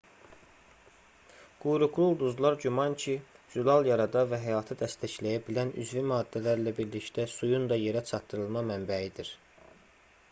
quyruqlu ulduzlar güman ki zülal yarada və həyatı dəstəkləyə bilən üzvi maddələrlə birlikdə suyun da yerə çatdırılma mənbəyidir